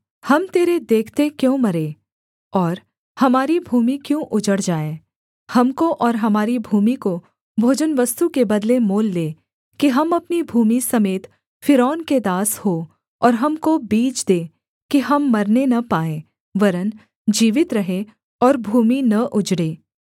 हम तेरे देखते क्यों मरें और हमारी भूमि क्यों उजड़ जाए हमको और हमारी भूमि को भोजनवस्तु के बदले मोल ले कि हम अपनी भूमि समेत फ़िरौन के दास हो और हमको बीज दे कि हम मरने न पाएँ वरन् जीवित रहें और भूमि न उजड़े